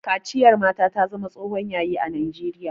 Kaciyar mata ta zama tsohon Yayi a najeriya